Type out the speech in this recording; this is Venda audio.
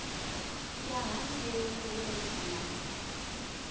ya hangei hu re na